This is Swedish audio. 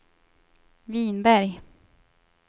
Vinberg